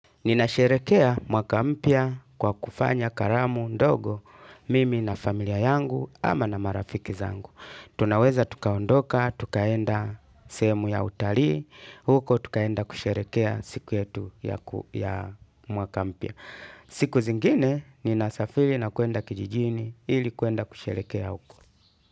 Ninasherekea mwaka mpya kwa kufanya karamu, ndogo, mimi na familia yangu ama na marafiki zangu. Tunaweza tukaondoka, tukaenda sehemu ya utalii, huko tukaenda kusherekea siku yetu ya mwaka mpya. Siku zingine, nina safiri nakwenda kijijini ili kwenda kusherekea huko.